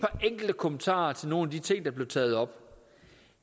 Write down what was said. enkelte kommentarer til nogle af de ting der blev taget op